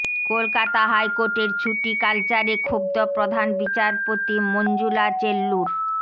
কলকাতা হাইকোর্টের ছুটি কালচারে ক্ষুব্ধ প্রধান বিচারপতি মঞ্জুলা চেল্লুর